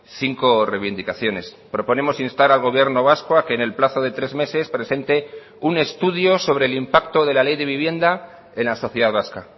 cinco reivindicaciones proponemos instar al gobierno vasco a que en el plazo de tres meses presente un estudio sobre el impacto de la ley de vivienda en la sociedad vasca